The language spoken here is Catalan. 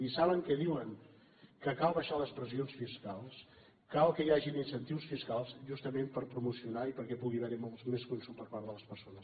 i saben què diuen que cal abaixar les pressions fiscals cal que hi hagin incentius fiscals justament per promocionar i perquè hi pugui haver molt més consum per part de les persones